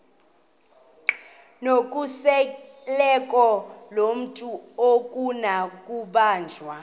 nokhuseleko lomntu akunakubanjwa